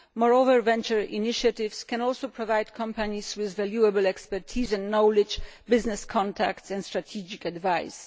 Moreover, venture initiatives can also provide companies with valuable expertise and knowledge, business contacts and strategic advice.